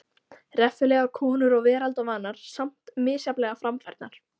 Reffilegar konur og veraldarvanar, samt misjafnlega framfærnar.